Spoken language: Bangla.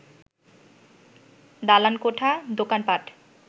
দালানকোঠা, দোকানপাট